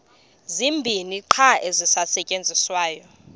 zibini qha ezisasetyenziswayo